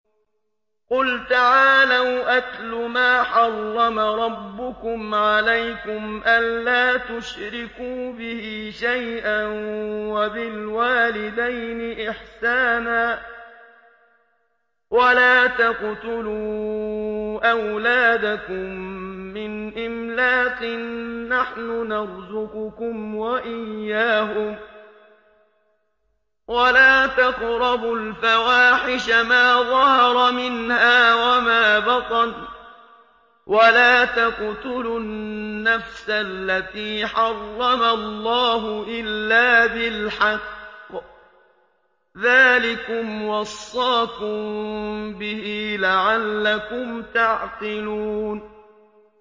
۞ قُلْ تَعَالَوْا أَتْلُ مَا حَرَّمَ رَبُّكُمْ عَلَيْكُمْ ۖ أَلَّا تُشْرِكُوا بِهِ شَيْئًا ۖ وَبِالْوَالِدَيْنِ إِحْسَانًا ۖ وَلَا تَقْتُلُوا أَوْلَادَكُم مِّنْ إِمْلَاقٍ ۖ نَّحْنُ نَرْزُقُكُمْ وَإِيَّاهُمْ ۖ وَلَا تَقْرَبُوا الْفَوَاحِشَ مَا ظَهَرَ مِنْهَا وَمَا بَطَنَ ۖ وَلَا تَقْتُلُوا النَّفْسَ الَّتِي حَرَّمَ اللَّهُ إِلَّا بِالْحَقِّ ۚ ذَٰلِكُمْ وَصَّاكُم بِهِ لَعَلَّكُمْ تَعْقِلُونَ